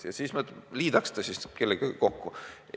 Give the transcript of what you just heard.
Ja siis me tahame ta kellegagi kokku liita.